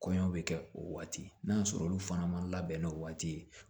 Kɔɲɔ bɛ kɛ o waati n'a y'a sɔrɔ olu fana ma labɛn n'o waati ye